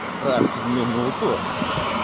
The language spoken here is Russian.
раз в минуту